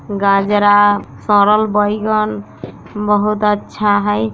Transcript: गाजरा सरल बैगन बहुत अच्छा हेय।